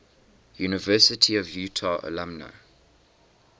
university of utah alumni